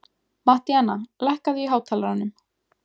Mattíana, lækkaðu í hátalaranum.